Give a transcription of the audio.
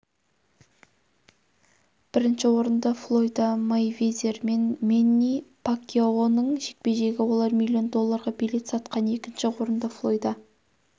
бірінші орында флойда мейвезер мен мэнни пакьяоның жекпе-жегі олар миллион долларға билет сатқан екінші орында флойда